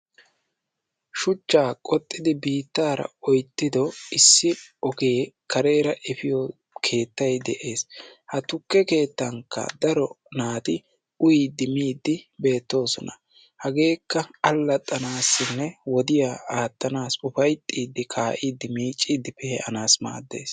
shuchchaa qoxxiiddi biittaara oyttido issi ogee kareera effiyo keettay de'ees, ha tukke keettankka daro naati uyiiddi miiddi beettoososna, hageekka alaxxanaaassinne wodiya aattanaassi ufayixxiiddi kaa'iiddi miicciidi pee'anaassi maaddees,